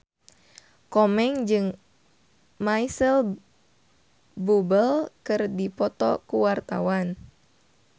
Komeng jeung Micheal Bubble keur dipoto ku wartawan